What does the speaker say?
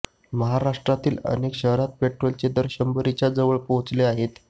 महाराष्ट्रातीलही अनेक शहरात पेट्रोलचे दर शंभरीच्या जवळ पोहोचले आहेत